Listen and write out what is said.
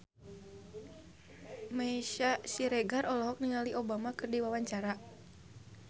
Meisya Siregar olohok ningali Obama keur diwawancara